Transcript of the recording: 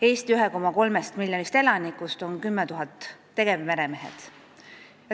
Eesti 1,3 miljonist elanikust 10 000 on tegevmeremehed.